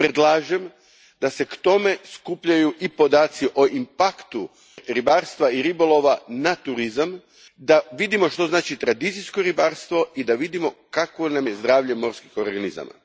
Predlažem da se k tome skupljaju i podaci o impaktu ribarstva i ribolova na turizam da vidimo što znači tradicijsko ribarstvo i da vidimo kakvo nam je zdravlje morskih organizama.